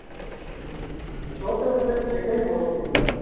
ਹਮਹਮ ਛੋਟੇ ਹੁੰਦੇ ਤਾਂ ਖੇਡਾ ਈ ਹੋਏ ਸੀਗੀਆ